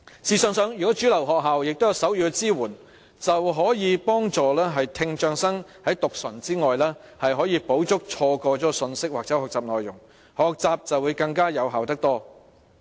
試想想，如果主流學校都有手語的支援，便可以幫助聽障生在讀唇外，補足錯過了的信息或學習內容，令學習更為有效。